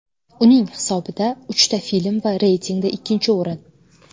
Uning hisobida uchta film va reytingda ikkinchi o‘rin.